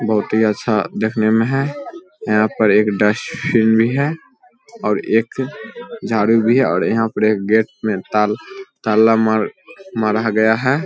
बहुत ही अच्छा देखने में है यहां पर एक डस्टबिन भी है और एक झाड़ू भी है और एक गेट मे ताल ताला मारा गया है।